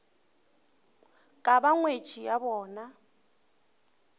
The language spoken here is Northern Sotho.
ka ba ngwetši ya bona